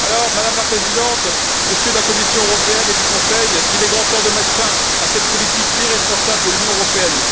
Madame la Présidente, Messieurs de la Commission européenne et du Conseil, il est grand temps de mettre fin à cette politique irresponsable de l'Union européenne.